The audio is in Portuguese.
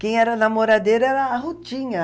Quem era namoradeira era a Rutinha.